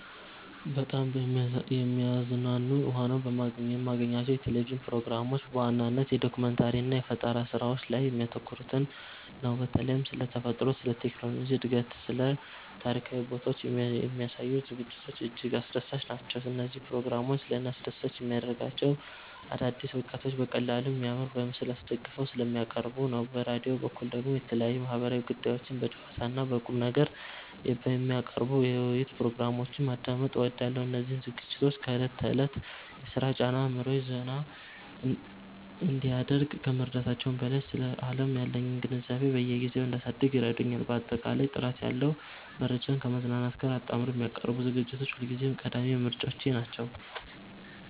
በጣም የሚያዝናኑ ሆነው የማገኛቸው የቴሌቪዥን ፕሮግራሞች በዋነኝነት የዶኩመንተሪ እና የፈጠራ ስራዎች ላይ የሚያተኩሩትን ነው። በተለይም ስለ ተፈጥሮ፣ ስለ ቴክኖሎጂ እድገትና ስለ ታሪካዊ ቦታዎች የሚያሳዩ ዝግጅቶች እጅግ አስደሳች ናቸው። እነዚህ ፕሮግራሞች ለእኔ አስደሳች የሚያደርጋቸው አዳዲስ እውቀቶችን በቀላሉና በሚያምር ምስል አስደግፈው ስለሚያቀርቡ ነው። በራዲዮ በኩል ደግሞ የተለያዩ ማህበራዊ ጉዳዮችን በጨዋታና በቁምነገር የሚያቀርቡ የውይይት ፕሮግራሞችን ማዳመጥ እወዳለሁ። እነዚህ ዝግጅቶች ከዕለት ተዕለት የሥራ ጫና አእምሮዬን ዘና እንዲያደርግ ከመርዳታቸውም በላይ፣ ስለ ዓለም ያለኝን ግንዛቤ በየጊዜው እንዳሳድግ ይረዱኛል። ባጠቃላይ ጥራት ያለው መረጃን ከማዝናናት ጋር አጣምረው የሚያቀርቡ ዝግጅቶች ሁልጊዜም ቀዳሚ ምርጫዎቼ ናቸው።